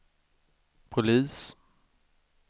polis